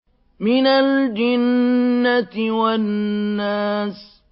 مِنَ الْجِنَّةِ وَالنَّاسِ